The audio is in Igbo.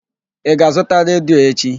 Ị ga-azụta redio echi?